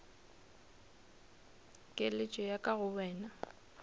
keletšo ya ka go wena